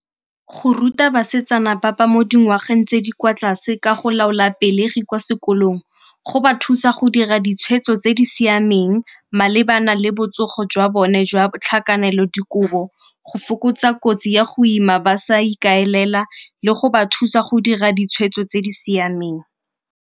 Go ruta basetsana ba ba mo dingwageng tse di kwa tlase ka go laola pelegi kwa sekolong go ba thusa go dira ditshwetso tse di siameng malebana le botsogo jwa bone jwa tlhakanelodikobo, go fokotsa kotsi ya go ima ba sa ikaelela le go ba thusa go dira ditshwetso tse di siameng.